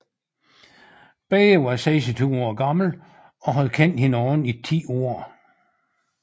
Begge var 26 år gamle og havde kendt hinanden i ti år